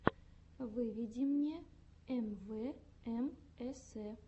выведи мне эмвээмэсе